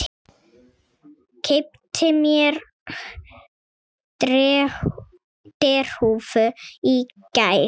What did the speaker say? Keypti mér derhúfu í gær.